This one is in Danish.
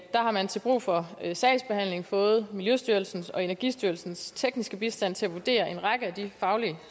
der har man til brug for sagsbehandlingen fået miljøstyrelsens og energistyrelsens tekniske bistand til at vurdere en række af de faglige